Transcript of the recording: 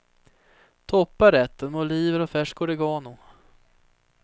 Toppa rätten med oliver och färsk oregano.